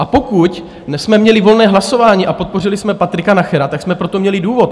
A pokud jsme měli volné hlasování a podpořili jsme Patrika Nachera, tak jsme pro to měli důvod.